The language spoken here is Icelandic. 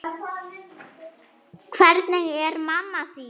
Hvernig er mamma þín?